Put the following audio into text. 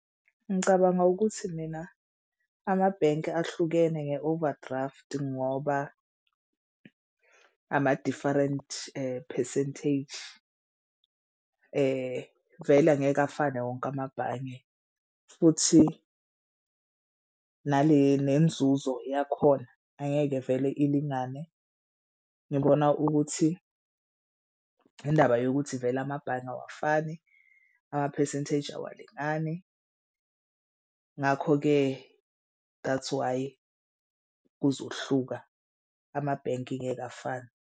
Ngicabanga ukuthi mina amabhenki ahlukene nge-overdraft ngoba ama-different percentage. Vele angeke afane wonke amabhange futhi nale nenzuzo yakhona angeke vele ilingane. Ngibona ukuthi indaba yokuthi vele amabhange awafani ama-percentage awalingani. Ngakho-ke that's why kuzohluka amabhenki ngeke afane.